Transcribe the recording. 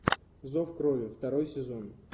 зов крови второй сезон